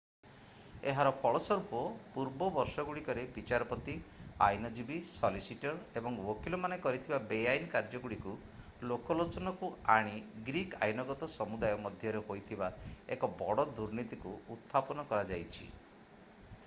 ଏହାର ଫଳସ୍ୱରୂପ ପୂର୍ବ ବର୍ଷଗୁଡିକରେ ବିଚାରପତି ଆଇନଜୀବୀ ସଲିସିଟର ଏବଂ ଓକିଲମାନେ କରିଥିବା ବେଆଇନ କାର୍ଯ୍ୟଗୁଡ଼ିକୁ ଲୋକଲୋଚନକୁ ଆଣି ଗ୍ରୀକ୍ ଆଇନଗତ ସମୁଦାୟ ମଧ୍ୟରେ ହୋଇଥିବା ଏକ ବଡ଼ ଦୁର୍ନୀତିକୁ ଉତ୍ଥାପନ କରାଯାଇଛି